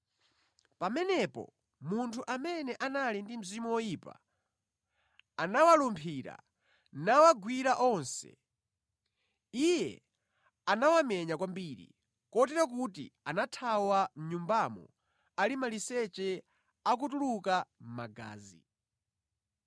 Pamenepo munthu amene anali ndi mzimu woyipa anawalumphira nawagwira onse. Iye anawamenya kwambiri, kotero kuti anathawa mʼnyumbamo ali maliseche, akutuluka magazi.